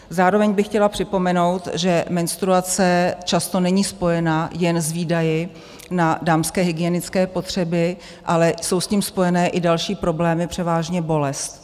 Zároveň by chtěla připomenout, že menstruace často není spojena jen s výdaji na dámské hygienické potřeby, ale jsou s tím spojeny i další problémy, převážně bolest.